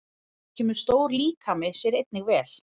Þá kemur stór líkami sér einnig vel.